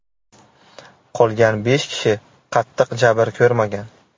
Qolgan besh kishi qattiq jabr ko‘rmagan.